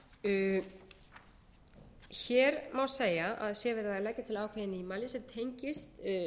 hér má segja að sé verið að leggja til ákveðið nýmæli sem tengist